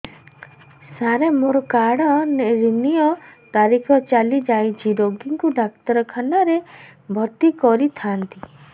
ସାର ମୋର card renew ତାରିଖ ଚାଲି ଯାଇଛି ରୋଗୀକୁ ଡାକ୍ତରଖାନା ରେ ଭର୍ତି କରିଥାନ୍ତି